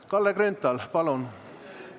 Kalle Grünthal, palun!